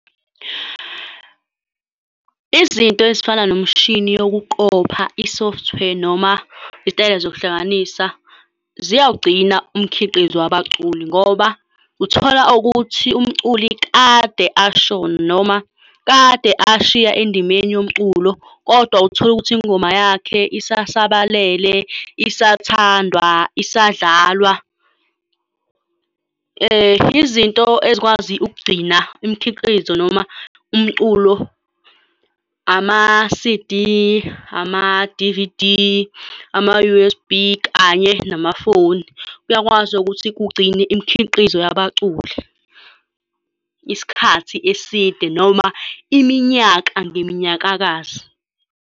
Izinto ezifana nomshini yokuqopha i-software noma izitayela zokuhlanganisa ziyawugcina umkhiqizo wabaculi, ngoba uthola ukuthi umculi kade ashona, noma kade ashiya endimeni yomculo, kodwa utholukuthi ingoma yakhe isasabalele, isathandwa, isadlalwa. Izinto ezikwazi ukugcina imikhiqizo noma umculo ama-C_D, ama-D_V_D, ama-U_S_B kanye namafoni. Kuyakwazi ukuthi kugcine imikhiqizo yababaculi isikhathi eside noma iminyaka ngeminyakakazi.